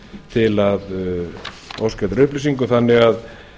til að óska eftir upplýsingum þannig að